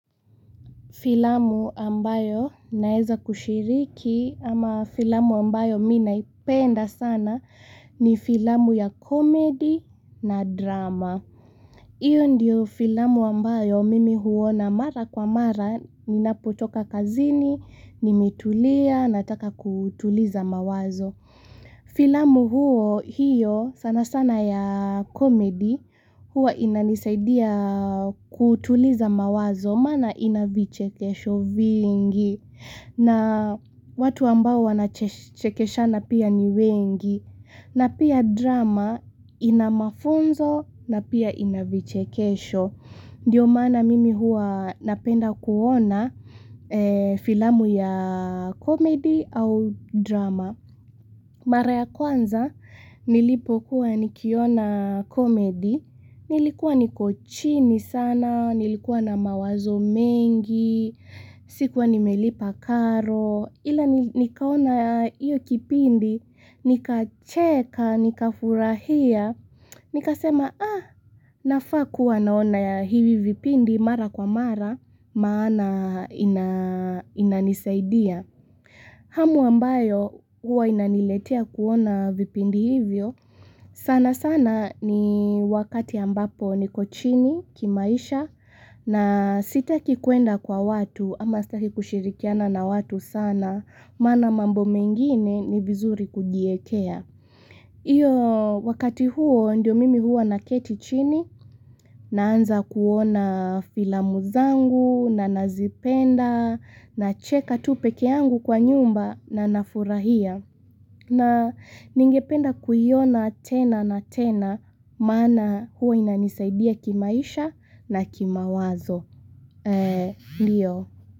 Filamu ambayo naeza kushiriki ama filamu ambayo mi naipenda sana ni filamu ya komedi na drama. Iyo ndiyo filamu ambayo mimi huona mara kwa mara, ninapotoka kazini, nimitulia, nataka kutuliza mawazo. Filamu huo hiyo sana sana ya komedi huwa inanisaidia kutuliza mawazo maana ina vichekesho vingi na watu ambao wanachekeshana pia ni wengi na pia drama inamafunzo na pia inavichekesho. Ndiyo maana mimi huwa napenda kuona filamu ya komedi au drama. Mara ya kwanza nilipo kuwa nikiona komedi, nilikuwa niko chini sana, nilikuwa na mawazo mengi, sikuwa nimelipa karo. Ila nikaona ya iyo kipindi, nika cheka, nika furahia, nika sema ah, nafaa kuwa naona ya hivi vipindi mara kwa mara, maana inanisaidia. Hamu ambayo huwa inaniletea kuona vipindi hivyo, sana sana ni wakati ambapo niko chini kimaisha, na sitaki kuenda kwa watu ama sitaki kushirikiana na watu sana maana mambo mengine ni vizuri kujiekea Iyo wakati huo ndio mimi huwa naketi chini Naanza kuona filamuzangu na nazipenda Nacheka tu peke yangu kwa nyumba na nafurahia na ningependa kuiona tena na tena maana huwa inanisaidia kimaisha na kima wazo. Ndiyo.